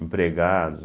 Empregados.